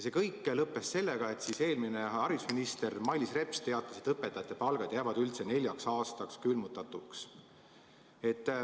See kõik lõppes sellega, et eelmine haridusminister Mailis Reps teatas, et õpetajate palgad jäävad üldse neljaks aastaks külmutatuks.